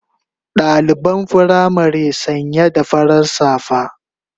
Daliban firamari sanya da farin safa